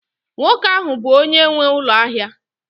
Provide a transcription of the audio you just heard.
nwoke ahụ bụ onye nwe ụlọ ahịa